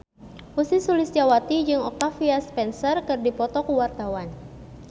Ussy Sulistyawati jeung Octavia Spencer keur dipoto ku wartawan